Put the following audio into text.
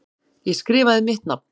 Ég skrifaði mitt nafn.